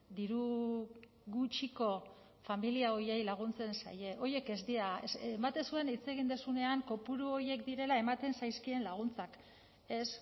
diru gutxiko familia horiei laguntzen zaie horiek ez dira ematen zuen hitz egin duzunean kopuru horiek direla ematen zaizkien laguntzak ez